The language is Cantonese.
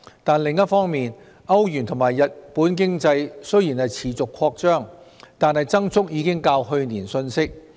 但是，另一方面，歐羅區和日本經濟雖然持續擴張，但增速已較去年遜色。